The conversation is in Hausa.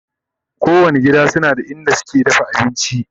kowani gida na da inda suke dafa abinci